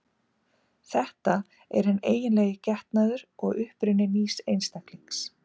Þetta er hinn eiginlegi getnaður og uppruni nýs einstaklings.